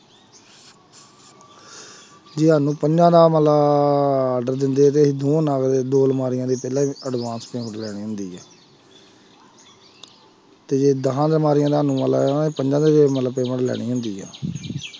ਜੇ ਸਾਨੂੰ ਪੰਜਾ ਦਾ order ਦਿੰਦੇ ਆ ਤੇ ਅਸੀਂ ਦੋ ਨਾਲ ਦੋ ਅਲਮਾਰੀਆਂ ਦੇ ਪਹਿਲਾਂ advance payment ਲੈਣੀ ਹੁੰਦੀ ਹੈ ਤੇ ਜੇ ਦਸਾਂ ਅਲਮਾਰੀਆਂ ਦਾ ਸਾਨੂੰ ਮੁੱਲ ਆਇਆ ਹੋਇਆ ਪੰਜਾਂ ਦੇ ਮਤਲਬ payment ਲੈਣੀ ਹੁੰਦੀ ਹੈ